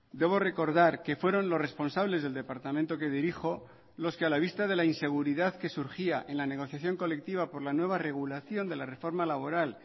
debo recordar que fueron los responsables del departamento que dirijo los que a la vista de la inseguridad que surgía en la negociación colectiva por la nueva regulación de la reforma laboral